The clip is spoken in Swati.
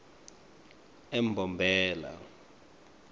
embombela